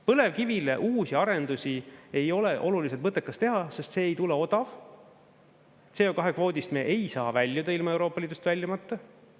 Põlevkivile uusi arendusi ei ole oluliselt mõttekas teha, sest see ei tule odav, CO2-kvoodist me ei saa väljuda ilma Euroopa Liidust väljumata.